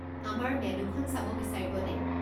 আমাৰ মেন্যুখন চাব বিচাৰিবনে?